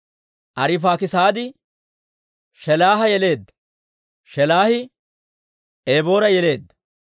Arifaakisaadi Shelaaha yeleedda; Shelaahi Eboora yeleedda.